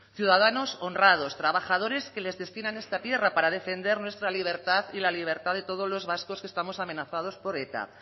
ciudadanos honrados trabajadores que les destinan a esta tierra para defender nuestra libertad y la libertad de todos los vascos que estamos amenazados por eta